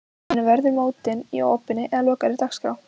En verður mótið í opinni eða lokaðri dagskrá?